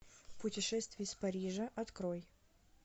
путешествие из парижа открой